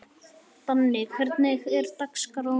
Esther, hvaða mánaðardagur er í dag?